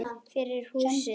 Fyrir húsið.